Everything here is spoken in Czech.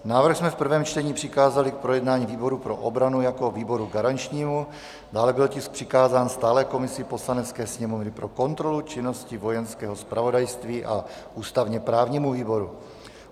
Návrh jsme v prvém čtení přikázali k projednání výboru pro obranu jako výboru garančnímu, dále byl tisk přikázán stálé komisi Poslanecké sněmovny pro kontrolu činnosti Vojenského zpravodajství a ústavně-právnímu výboru.